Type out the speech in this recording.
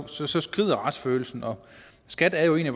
så så skrider retsfølelsen og skat er jo en af